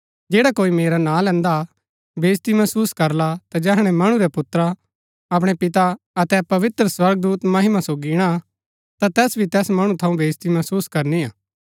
जैडा कोई मेरा नां लैन्दा बेईज्ती महसुस करला ता जैहणै मणु रै पुत्रा अपणै पिता अतै पवित्र स्वर्गदूता महिमा सोगी ईणा ता तैस भी तैस मणु थऊँ बेईज्ती महसुस करनी हा